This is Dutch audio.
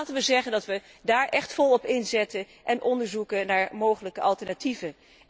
Laten we zeggen dat we daar echt vol op inzetten en onderzoek verrichten naar mogelijke alternatieven.